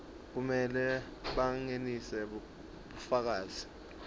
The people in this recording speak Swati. kumele bangenise bufakazi